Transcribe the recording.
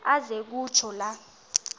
aze kutsho la